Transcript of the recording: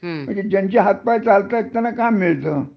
ज्यांचे हात पाय चालतात त्यांना काय मिळत